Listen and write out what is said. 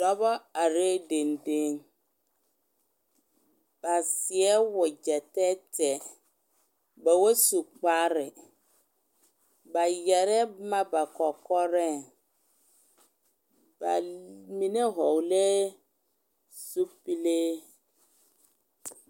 Dɔba are denden, ba seɛ wagyɛ tɛɛtɛɛ , baba su kparre , ba yɛre boma ba kɔkɔreŋ ba mine vɔgeli la zupile .